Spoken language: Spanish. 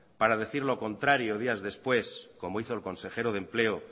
para decir lo contrario días después como hizo el consejero de empleo